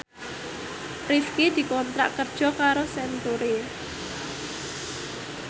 Rifqi dikontrak kerja karo Century